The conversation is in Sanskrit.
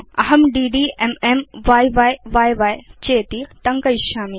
अहं डीडी एमएम य्य्य चेति टङ्कयिष्यामि